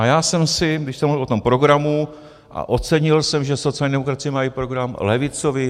A já jsem si, když jsem mluvil o tom programu - a ocenil jsem, že sociální demokracie má i program levicový.